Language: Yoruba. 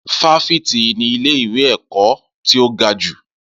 Fáfitì ni ilé ìwé ẹ̀kọ́ tí ó ga jù.